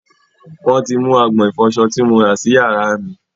Wọ́n ti mú agbọ̀n ìfọsọ tí mo rà sì yàrá mí.